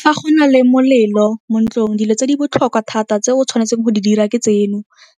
Fa go na le molelo mo ntlong, dilo tse di botlhokwa thata tse o tshwanetseng go di dira ke tseno,